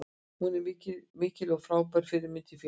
Hún er mikil og frábær fyrirmynd í félaginu.